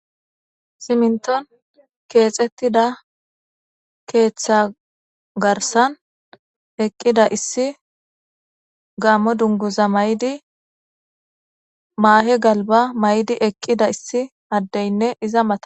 siminton keexettida keeththa garsan eqqida issi gammo dunguza maydi maahe galba maydi eqqida issi addeynne iza mata